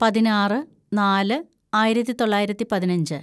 പതിനാറ് നാല് ആയിരത്തിതൊള്ളായിരത്തി പതിനഞ്ച്‌